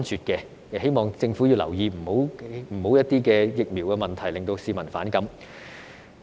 我希望政府留意，不要讓疫苗問題令市民反感。